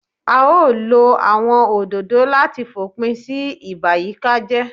A ó lo àwọn òdòdó láti fòpin sí ìbàyíkájẹ́